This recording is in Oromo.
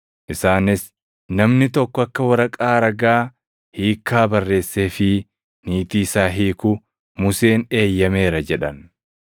Isaanis, “Namni tokko akka waraqaa ragaa hiikkaa barreesseefii niitii isaa hiiku Museen eeyyameera” jedhan.